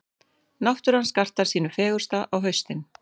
Náttúran skartar sínu fegursta á haustin.